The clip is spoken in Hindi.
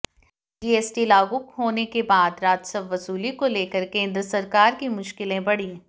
जीएसटी लागू होने के बाद राजस्व वसूली को लेकर केंद्र सरकार की मुश्किलें बढ़ी